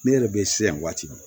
Ne yɛrɛ be siran yan waati min